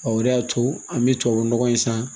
o de y'a to an bɛ tubabu nɔgɔ in san